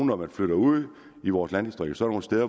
når man flytter ud i vores landdistrikter